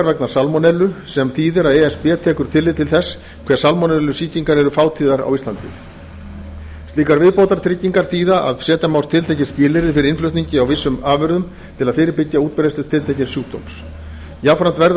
vegna salmonellu sem þýðir að e s b tekur tillit til þess hve salmonellusýkingar eru fátíðar á íslandi slíkar viðbótartryggingar þýða að setja má tiltekin skilyrði fyrir innflutningi á vissum afurðum til að fyrirbyggja útbreiðslu tiltekins sjúkdóms jafnframt verða